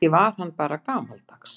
Kannski var hann bara gamaldags.